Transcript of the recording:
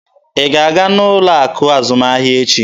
Ị ga-aga n'ụlọ akụ azụmahịa echi!